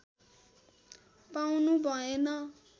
पाउनु भएन